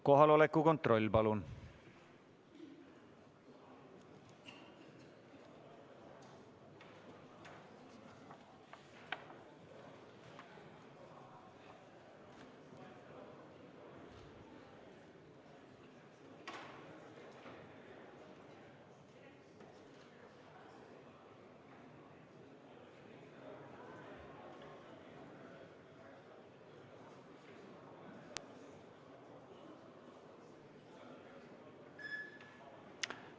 Kohaloleku kontroll, palun!